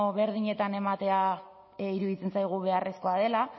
berdinetan ematea iruditzen zaigu beharrezkoa dela